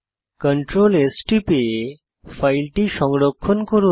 Ctrl S টিপে ফাইলটি সংরক্ষণ করুন